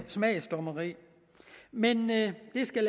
smagsdommeri men det skal